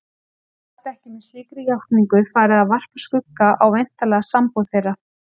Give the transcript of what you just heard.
Hún gat ekki með slíkri játningu farið að varpa skugga á væntanlega sambúð þeirra.